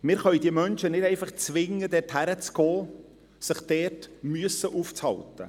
Wir können diese Menschen nicht einfach zwingen, dorthin zu gehen und sich dort aufzuhalten.